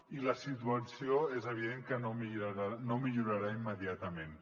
i la situació és evident que no millorarà immediatament